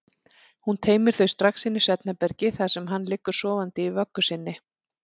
Hún teymir þau strax inn í svefnherbergi þar sem hann liggur sofandi í vöggu sinni.